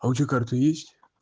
а у тебя карта есть